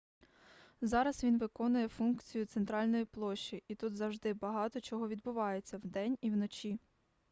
зараз він виконує функцію центральної площі і тут завжди багато чого відбувається вдень і вночі